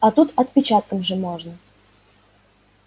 а тут отпечатком же можно